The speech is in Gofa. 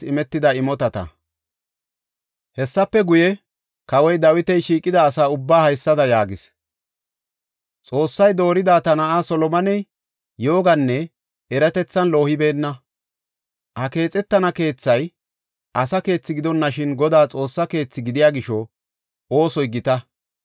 Hessafe guye, Kawoy Dawiti shiiqida asa ubbaa haysada yaagis; “Xoossay doorida ta na7aa Solomoney yooganne eratethan loohibeenna. Ha keexetana keethay asa keethi gidonashin Godaa Xoossaa keethi gidiya gisho oosoy gita.